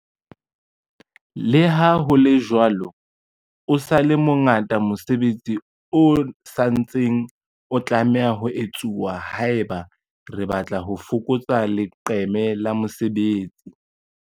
Leha ho le jwalo, o sa le mo ngata mosebetsi o sa ntsaneng o tlameha ho etsuwa haeba re batla ho fokotsa leqeme la mesebetsi.